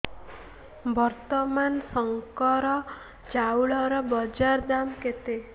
ବର୍ତ୍ତମାନ ଶଙ୍କର ଚାଉଳର ବଜାର ଦାମ୍ କେତେ